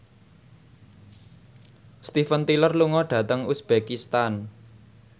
Steven Tyler lunga dhateng uzbekistan